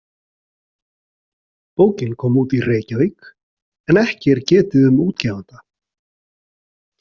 Bókin kom út í Reykjavík en ekki er getið um útgefanda.